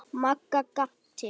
Magga gapti.